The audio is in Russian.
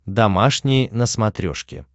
домашний на смотрешке